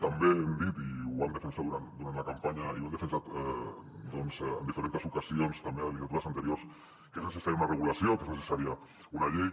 també hem dit i ho vam defensar durant la campanya i ho hem defensat doncs en diferents ocasions també en legislatures anteriors que és necessària una regulació que és necessària una llei